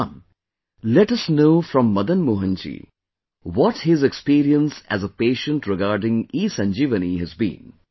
Come, let us know from Madan Mohan ji what his experience as a patient regarding ESanjeevani has been